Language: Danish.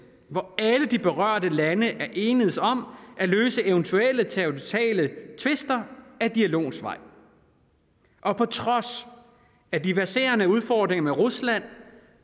hvor alle de berørte lande er enedes om at løse eventuelle territoriale tvister ad dialogens vej og på trods af de verserende udfordringer med rusland